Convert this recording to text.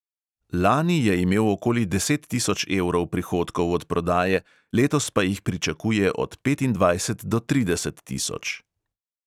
Lani je imel okoli deset tisoč evrov prihodkov od prodaje, letos pa jih pričakuje od petindvajset do trideset tisoč.